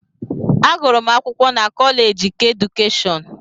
Agụrụ m akwụkwọ na Kọleeji keedukeshọn.